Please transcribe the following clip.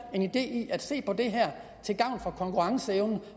en idé i at se på det her til gavn for konkurrenceevnen